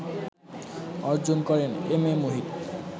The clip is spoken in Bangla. অর্জন করেন এম এ মুহিত